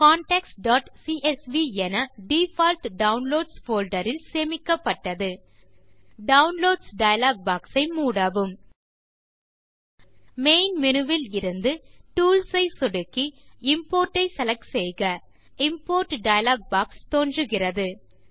contactsசிஎஸ்வி என default downloads folder இல் சேமிக்கப்பட்டது டவுன்லோட்ஸ் டயலாக் பாக்ஸ் ஐ மூடவும் மெயின் menuஇலிருந்துTools ஐ சொடுக்கி இம்போர்ட் ஐ செலக்ட் செய்க இம்போர்ட் டயலாக் பாக்ஸ் தோன்றுகிறது